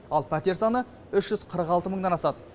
ал пәтер саны үш жүз қырық алты мыңнан асады